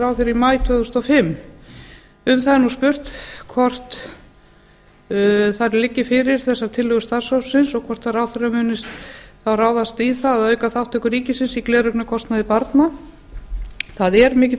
ráðherra í maí tvö þúsund og fimm um það er nú spurt hvort þessar tillögur starfshópsins liggi fyrir og hvort ráðherra muni þá ráðast í það að auka þátttöku ríkisins í gleraugnakostnaði barna það er mikill